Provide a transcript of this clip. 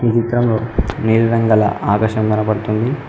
ఈ చిత్రంలో నీలి రంగుగల ఆకాశం కనబడుతుంది.